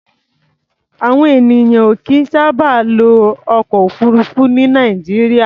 Àwọn ènìyàn ò kìí sábà lo ọkọ̀-òfurufú ní Nàìjíríà.